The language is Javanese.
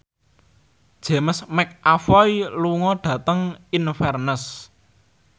James McAvoy lunga dhateng Inverness